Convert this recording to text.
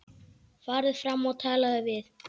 Farðu fram og talaðu við